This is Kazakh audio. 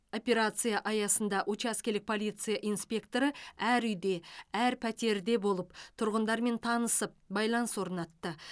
операция аясында учаскелік полиция инспекторы әр үйде әр пәтерде болып тұрғындармен танысып байланыс орнатты